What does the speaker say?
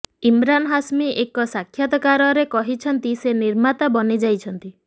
ଇମରାନ୍ ହାସମୀ ଏକ ସାକ୍ଷାତକାରରେ କହିଛନ୍ତି ସେ ନିର୍ମାତା ବନି ଯାଇଛନ୍ତି